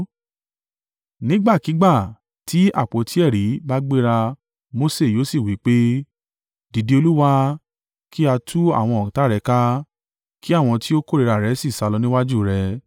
Nígbàkígbà tí àpótí ẹ̀rí bá gbéra Mose yóò sì wí pé, “Dìde, Olúwa! Kí a tú àwọn ọ̀tá rẹ ká, kí àwọn tí ó kórìíra rẹ sì sálọ níwájú rẹ.”